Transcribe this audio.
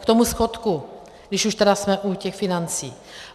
K tomu schodku, když už tedy jsme u těch financí.